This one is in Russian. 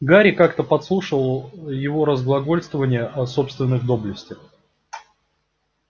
гарри как-то подслушивал его разглагольствования о собственных доблестях